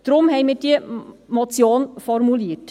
Deswegen haben wir diese Motion formuliert.